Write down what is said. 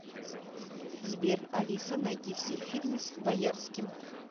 сбер алиса найди все фильмы с боярским